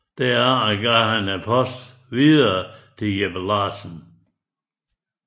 Derefter gav han posten videre til Jeppe Larsen